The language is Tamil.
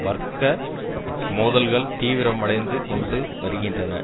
வர்க்க மோதல்கள் தீவிரமடைந்து கொண்டு வருகின்றன